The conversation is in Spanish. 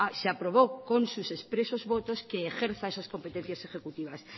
se aprobó con sus expresos votos que ejerza esas competencias ejecutivas